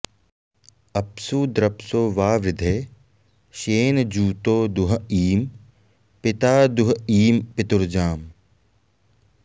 अ॒प्सु द्र॒प्सो वा॑वृधे श्ये॒नजू॑तो दु॒ह ईं॑ पि॒ता दु॒ह ईं॑ पि॒तुर्जाम्